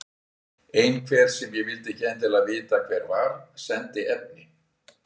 Einhver, sem ég vildi ekkert endilega vita hver var, sendi efni.